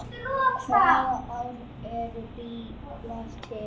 Hvaða ár urðu bílar til?